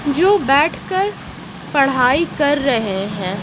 जो बैठकर पढ़ाई कर रहे हैं।